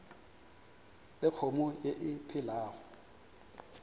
le kgomo ye e phelago